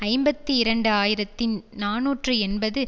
ஐம்பத்தி இரண்டு ஆயிரத்தி நாநூற்று எண்பது